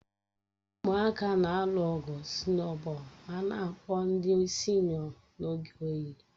Ụmụaka na-alụ ọgụ sụnobọol ma na-akpụ ndị sino n'oge oyi